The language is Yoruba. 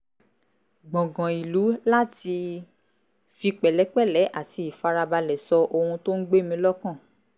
gbọ̀ngàn ìlú láti fi pẹ̀lẹ́pẹ̀lẹ́ àti ìfarabalẹ̀ sọ ohun tó ń gbé mí lọ́kàn